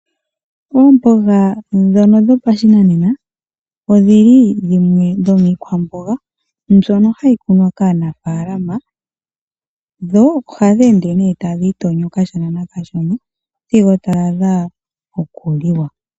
Oomboga ndhono dhapashinanena, odhili dhimwe dhomiikwamboga mbyoka hayi kunwa kaanamapya. Ndho ohadhi ende tadhi itonyo kashona nakashona sigo dha adha okuliwa.